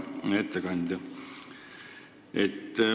Hea ettekandja!